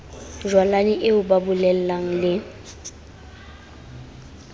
jwalane eo ba bolelang le